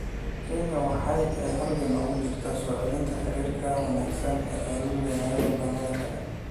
Kenya waxa ay halgan ugu jirtay soo celinta xiriirkii wanaagsanaa ee ay la lahayd wadamada kale.